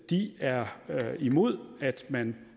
de er imod at man